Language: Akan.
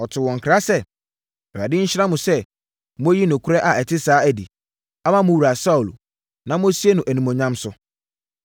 ɔtoo wɔn nkra sɛ, “ Awurade nhyira mo sɛ moayi nokorɛ a ɛte saa adi, ama mo wura Saulo, na moasie no animuonyam so.